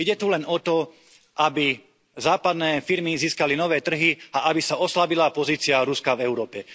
Ide tu len o to, aby západné firmy získali nové trhy a aby sa oslabila pozícia Ruska v Európe.